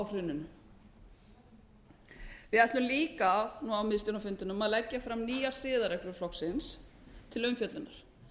hruninu við ætlum líka á miðstjórnarfundinum að leggja fram nýjar siðareglur flokksins til umfjöllunar